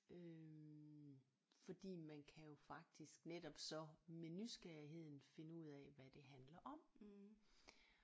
Øh fordi man kan jo faktisk netop så med nysgerrigheden finde ud af hvad det handler om